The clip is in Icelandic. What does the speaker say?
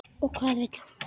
Og hvað vill hún?